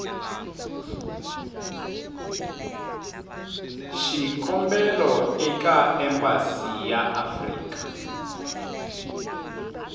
xikombelo eka embasi ya afrika